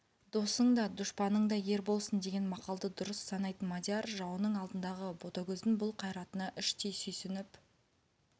досың да дұшпаның да ер болсын деген мақалды дұрыс санайтын мадияр жауының алдындағы ботагөздің бұл қайратына іштей сүйсініп